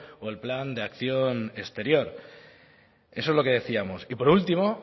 o el plan de acción exterior eso es lo que decíamos y por último